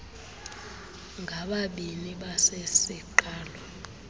ngababini basei siqalo